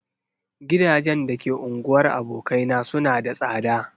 Gidajen da ke unguwar abokaina suna da tsada.